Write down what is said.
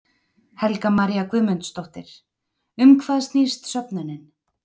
Helga María Guðmundsdóttir: Um hvað snýst söfnunin?